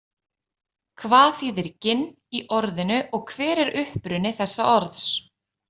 Hvað þýðir „ginn“ í orðinu og hver er uppruni þessa orðs?